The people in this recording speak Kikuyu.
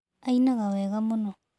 Ainaga wega mũno.